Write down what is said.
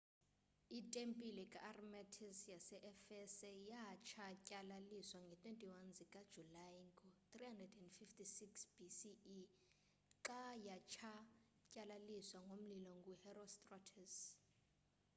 itempile ka-artemis yase-efese yatshatyalaliswa ngee-21 zikajulayi ngo-356 bce xa yatshatyalaliswa ngomlilo nguherostratus